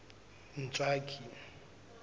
ntswaki